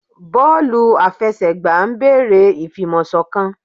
Bọọlu àfẹsẹ̀gbá ń béèrè ìfi ìmọ̀ sọ̀kan